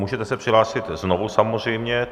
Můžete se přihlásit znovu samozřejmě.